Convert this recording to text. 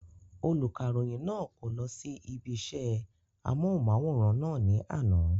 Olùkàròyìn náà kò lọ sí ibi isẹ́ amóhùnmáwòrán náà ní àná